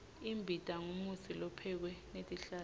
imbita ngumutsi lophekwe ngetihlahla